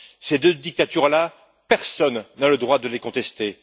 Ces deux dictatures, personne n'a le droit de les contester.